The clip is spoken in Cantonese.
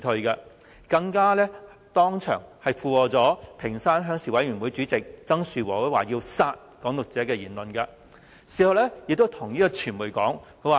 何君堯議員更當場附和屏山鄉事委員會主席曾樹和先生的言論，表示要殺"港獨"者。